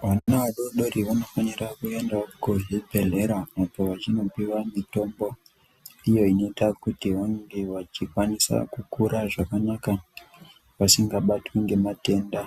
Vana vadodori vanofanira kuenda kuzvibhedhlera vachinopia mitombo iyo inoita kuti vange vachikwanisa kukura zvakanaka vasingabatwi ngematenda